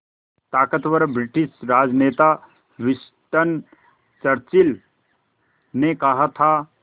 ताक़तवर ब्रिटिश राजनेता Winston Churchill ने कहा था